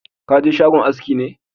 Ka je shagon haski ne?